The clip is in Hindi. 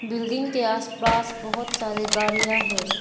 बिल्डिंग के आसपास बहोत सारे गाड़ियां है।